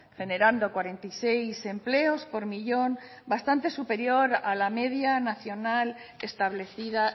generando cuarenta y seis empleos por millón bastante superior a la media nacional establecida